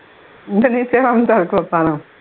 உங்க வீட்டுலேயும் வந்தா